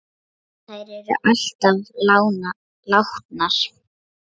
Þær eru allar látnar.